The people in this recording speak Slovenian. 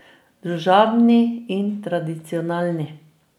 Družabni in tradicionalni.